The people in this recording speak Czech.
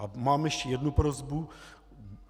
A mám ještě jednu prosbu.